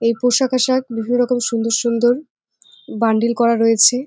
এই পোশাক আশাক বিভিন্ন রকম সুন্দর সুন্দর বান্ডিল করা রয়েছে।